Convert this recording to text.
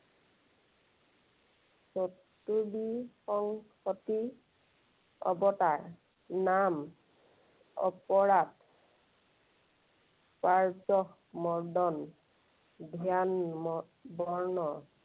চতুৰ্বিংশতি অৱতাৰ, নাম অপৰাধ, মৰ্দন, ধ্যান বৰ্ণন।